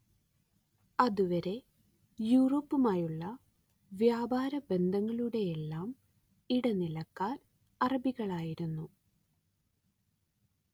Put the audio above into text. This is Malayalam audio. അതുവരെ യൂറോപ്പുമായുളള വ്യാപാര ബന്ധങ്ങളുടെയെല്ലാം ഇടനിലക്കാർ അറബികളായിരുന്നു